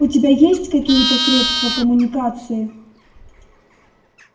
у тебя есть какие-то средства коммуникации